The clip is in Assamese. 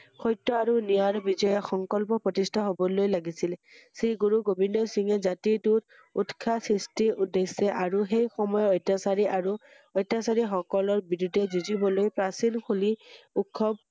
সত্যৰ আৰু ন্যায়ৰ বিজয় সংকল্প প্ৰতিস্ঠা হ্‘বলৈ লাগিছিলে ৷শ্ৰী গুৰু গোবিন্দ সিং জাতিটোত উৎসাহ সৃস্টি উদ্দেশ্য আৰু সেই সময়ৰ অত্যাচাৰী আৰু অত্যাচাৰী সকলৰ বিৰুদ্বে যুজিঁবলৈ প্ৰাচীন হোলী উৎসৱ ৷